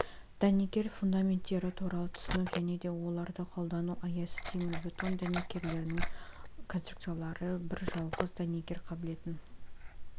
дәнекер фундаменттері туралы түсінік және де оларды қолдану аясы темірбетон дәнекерлердің конструкциялары бір жалғыз дәнекер қабілетін